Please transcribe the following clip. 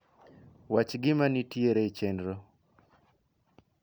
wach gima nitiere e chenro